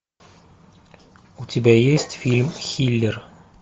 у тебя есть фильм хилер